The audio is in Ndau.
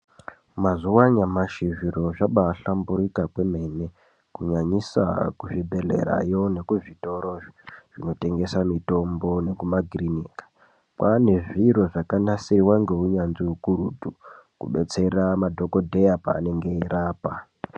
Mazuwa anyamashi zviro zvabahlamburika kwemene kunyanyisa kuzvibhedhlerayo nekuzvitoro zvinotengesa mitombo nekumakirinika. Kwane zviro zvakanasirwa ngeunyanzvi hukurutu kubetsera madhokodheya paanenge eirapa.